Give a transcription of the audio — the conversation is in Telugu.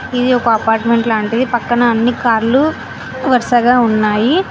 ఇది ఒక అపార్ట్మెంట్ లాంటిది పక్కన అన్ని కార్లు వరుసగా ఉన్నాయి.